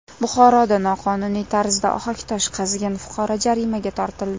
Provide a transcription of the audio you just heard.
Buxoroda noqonuniy tarzda ohaktosh qazigan fuqaro jarimaga tortildi.